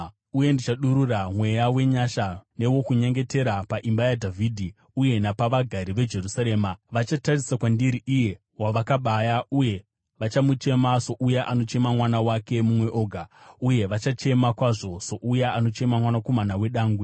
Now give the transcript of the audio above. “Uye ndichadurura mweya wenyasha newokunyengetera paimba yaDhavhidhi uye napavagari veJerusarema. Vachatarisa kwandiri, iye wavakabaya, uye vachamuchema souya anochema mwana wake mumwe oga, uye vachachema kwazvo souya anochema mwanakomana wedangwe.